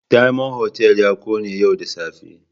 Diamond Hotel ya kone yau da safe.